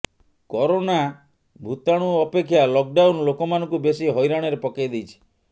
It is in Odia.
କରୋନା ଭୂତାଣୁ ଅପେକ୍ଷା ଲକ୍ ଡାଉନ୍ ଲୋକମାନଙ୍କୁ ବେଶୀ ହଇରାଣରେ ପକେଇ ଦେଇଛି